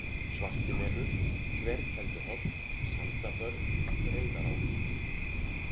Svartimelur, Þverkelduholt, Sandabörð, Reyðarás